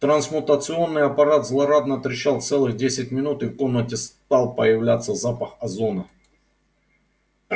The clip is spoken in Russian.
трансмутационный аппарат злорадно трещал целых десять минут и в комнате стал появляться запах озона